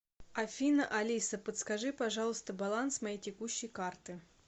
афина алиса подскажи пожалуйста баланс моей текущей карты